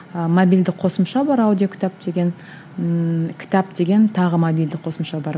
ы мобильді қосымша бар аудиокітап деген ііі кітап деген тағы мобильді қосымша бар